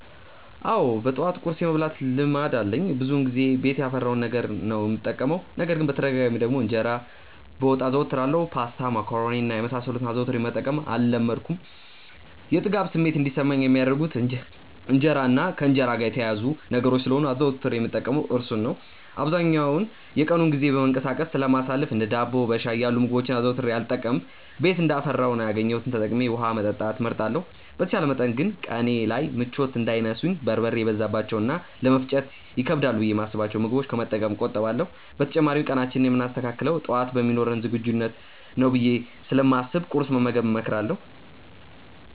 አዎ በጠዋት ቁርስ የመብላት ልማድ አለኝ። ብዙውን ጊዜ ቤት ያፈራውን ነገር ነው የምጠቀመው። ነገር ግን በተደጋጋሚ ደግሞ እንጀራ በወጥ አዘወትራለሁ። ፓስታ፣ መኮሮኒ እና የመሳሰሉትን አዘውትሬ መጠቀም አልለመድኩም። የጥጋብ ስሜት እንዲሰማኝ የሚያደርጉት እንጀራ እና ከእንጀራ ጋር የተያያዙ ነገሮች ስለሆኑ አዘውትሬ የምጠቀመው እርሱን ነው። አብዛኛውን የቀኑን ጊዜ በመንቀሳቀስ ስለማሳልፍ እንደ ዳቦ በሻይ ያሉ ምግቦችን አዘውትሬ አልጠቀምም። ቤት እንዳፈራው እና ያገኘሁትን ተጠቅሜ ውሀ መጠጣት እመርጣለሁ። በተቻለ መጠን ግን ቀኔ ላይ ምቾት እንዳይነሱኝ በርበሬ የበዛባቸውን እና ለመፈጨት ይከብዳሉ ብዬ የማስብቸውን ምግቦች ከመጠቀም እቆጠባለሁ። በተጨማሪም ቀናችንን የምናስተካክለው ጠዋት በሚኖረን ዝግጁነት ነው ብዬ ስለማስብ ቁርስ መመገብን እመክራለሁ።